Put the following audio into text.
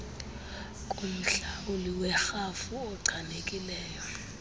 kumhlawuli werhafu ochanekileyo